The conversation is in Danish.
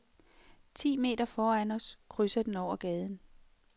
Ti meter foran os krydser den over gaden.